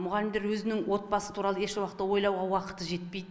мұғалімдер өзінің отбасы туралы ешуақытта ойлауға уақыты жетпейді